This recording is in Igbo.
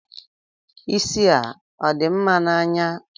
Isi a ọ dị mma n'anya?